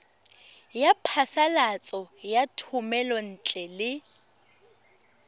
ya phasalatso ya thomelontle le